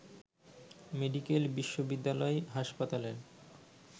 medical বিশ্ববিদ্যালয় হাসপাতালের